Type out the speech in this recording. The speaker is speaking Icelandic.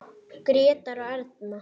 Grétar og Erna.